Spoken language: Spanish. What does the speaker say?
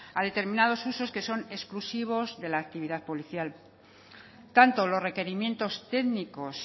a determinados usos que son exclusivos de la actividad policial tanto los requerimientos técnicos